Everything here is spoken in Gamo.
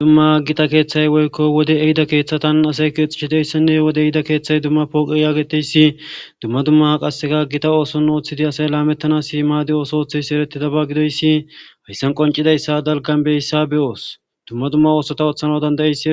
dumma aggita keeththay woykko wode ehida keeththatan asay keexishidayssinne wode ehida keeththay dumma pooqe yaageteyssi dumma dumma h qasseka aggita ooson ooththidi asay laamettana siimadi ooso otheys erettida ba gidoyssi hayssan qoncidayssa dalgan beyssa be oos dumma dumma oosota ooththana dandayey